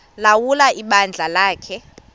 ulawula ibandla lakhe